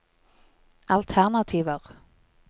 alternativer